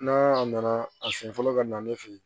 N'a nana a sen fɔlɔ ka na ne fe yen